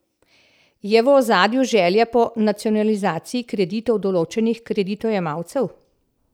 Je v ozadju želja po nacionalizaciji kreditov določenih kreditojemalcev?